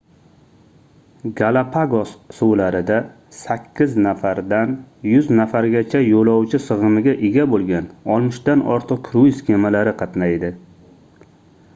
galapagos suvlarida 8 nafardan 100 nafargacha yoʻlovchi sigʻimiga ega boʻlgan 60 dan ortiq kruiz kemalari qatnaydi